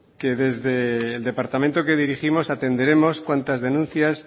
que desde el departamento que dirigimos atenderemos cuantas denuncias